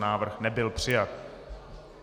Návrh nebyl přijat.